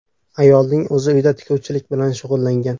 Ayolning o‘zi uyda tikuvchilik bilan shug‘ullangan.